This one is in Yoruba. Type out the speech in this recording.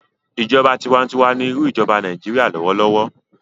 ìjọba tiwantiwa ní irú ijoba Nàìjíría lọwọlọwọ.